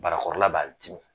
Barakɔrɔla b'a dim